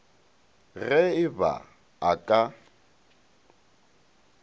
ge e ba a ka